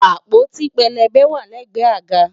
Àpótí pélébé wà lẹ́gbẹ̀ẹ́ àga